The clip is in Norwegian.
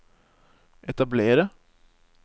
etablere